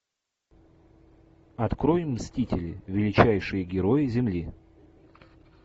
открой мстители величайшие герои земли